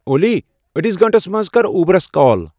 اولی أڑِس گھنٹَس منٛز کَر اوبرَس کال